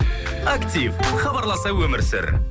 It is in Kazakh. актив хабарласа өмір сүр